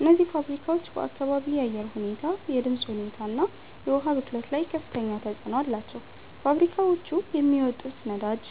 እነዚህ ፋብሪካዎች በአካባቢ አየር ሁኔታ፣ የድምፅ ሁኔታ እና የውሃ ብክለት ላይ ከፍተኛ ተጽዕኖ አላቸው። ፋብሪካዎቹ የሚያወጡት ወዳጅ